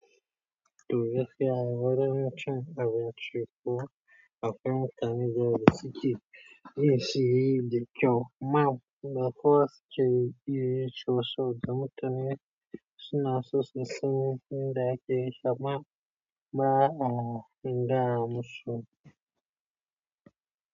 To gaskiya wajen cin abinci kuma akwai mutane da yawa da suke yin shi da kyau amma ba kowa suke iya yinshi ba saboda mutane suna so su san yanda ake yinshi amma ba a gaya musu.